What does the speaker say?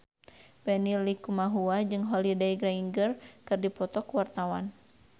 Benny Likumahua jeung Holliday Grainger keur dipoto ku wartawan